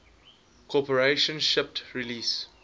corporation shipped release